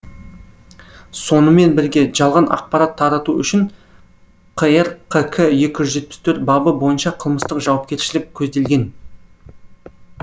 сонымен бірге жалған ақпарат тарату үшін қр қк екі жүз жетпіс төрт бабы бойынша қылмыстық жауапкершілік көзделген